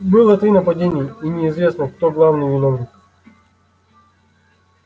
было три нападения и неизвестно кто главный виновник